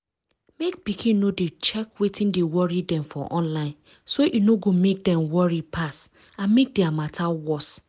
mek pikin no dey check wetin dey worry dem for online so e no go mek dem worry pass and mek their matter worse.